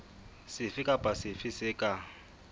sefe kapa sefe se ka